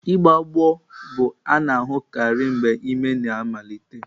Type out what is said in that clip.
Ịgbọ agbọ bụ a na-ahụkarị mgbe ime na amalite.